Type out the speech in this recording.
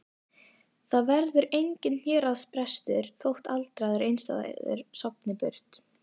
Það verður enginn héraðsbrestur þótt aldraður einstæðingur sofni burt.